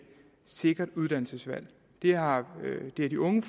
sikkert uddannelsesvalg det har de unge